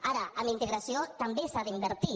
ara en integració també s’hi ha d’invertir